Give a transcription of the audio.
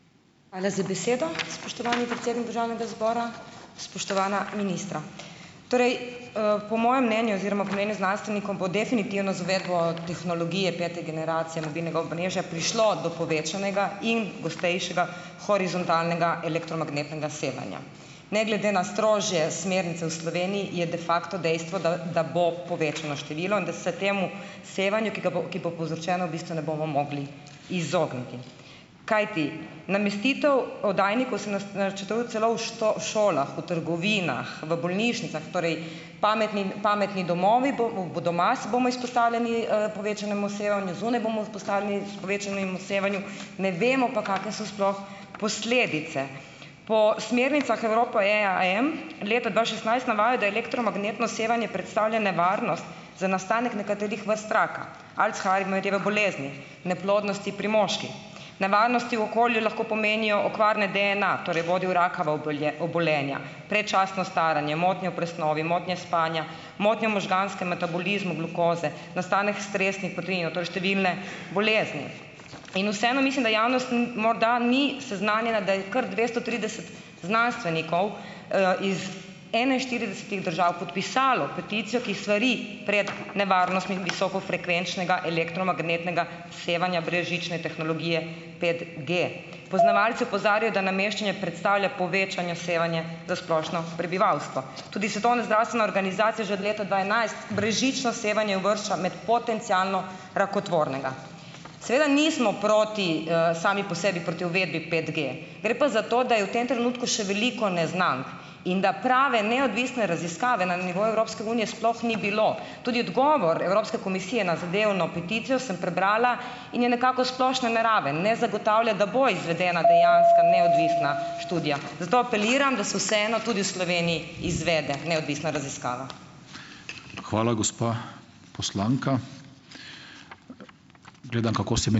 Hvala za besedo, spoštovani predsednik državnega zbora. Spoštovana ministra! Torej, po mojem mnenju oziroma po mnenju znanstvenikov bo definitivno z uvedbo tehnologije pete generacije mobilnega omrežja prišlo do povečanega in gostejšega horizontalnega elektromagnetnega sevanja. Ne glede na strožje smernice v Sloveniji je de facto dejstvo, da da bo povečano število in da se temu sevanju, ki ga bo ki bo povzročeno, v bistvu ne bomo mogli izogniti. Kajti, namestitev oddajnikov se načrtuje celo v šolah, v trgovinah, v bolnišnicah. Torej, pametni pametni domovi, doma bomo izpostavljeni, povečanemu sevanju, zunaj bomo izpostavljeni povečanemu sevanju. Ne vemo pa, kake so sploh posledice. Po smernicah Evropa EAA-jem leta dva šestnajst navaja, da elektromagnetno sevanje predstavlja nevarnost za nastanek nekaterih vrst raka, Alzheimerjeve bolezni, neplodnosti pri moških, nevarnosti v okolju lahko pomenijo okvare DNA, torej bodi v rakava obolenja, predčasno staranje, motnje v presnovi, motnje spanja, motnje v možganskem metabolizmu glukoze, nastanek stresnih proteinov, to je številne bolezni. In vseeno mislim, da javnost morda ni seznanjena, da je kar dvesto trideset znanstvenikov, iz enainštiridesetih držav podpisalo peticijo, ki svari pred nevarnostmi visokofrekvenčnega elektromagnetnega sevanja brezžične tehnologije petG. Poznavalci opozarjajo, da nameščanje predstavlja povečano sevanje za splošno prebivalstvo. Tudi Svetovna zdravstvena organizacija že od leta dva enajst brezžično sevanje uvršča med potencialno rakotvornega. Seveda nismo proti, sami po sebi proti uvedbi petG. Gre pa za to, da je v tem trenutku še veliko neznank in da prave neodvisne raziskave na nivoju Evropske unije sploh ni bilo. Tudi odgovor Evropske komisije na zadevno peticijo, sem prebrala, in je nekako splošno neraven ne zagotavlja, da bo izvedena dejanska neodvisna študija. Zato apeliram, da se vseeno tudi v Sloveniji izvede neodvisna raziskava.